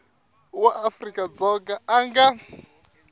wa afrika dzonga a nga